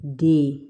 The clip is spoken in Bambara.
Den